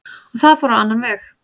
En það fór á annan veg.